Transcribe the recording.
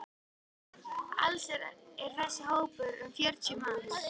Alls er þessi hópur um fjörutíu manns.